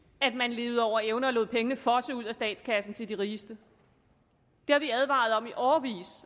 at man levede over evne og lod pengene fosse ud af statskassen til de rigeste det har vi advaret om i årevis